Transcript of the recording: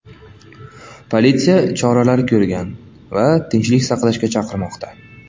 Politsiya choralar ko‘rgan va tinchlik saqlashga chaqirmoqda.